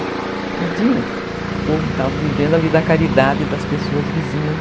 Não tinham como, estavam vivendo ali da caridade das pessoas vizinhas.